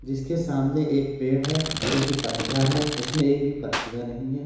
जिसके सामने एक पेड़ है जो कि पतझर है उसमें एक भी पत्तियाँ नहीं हैं।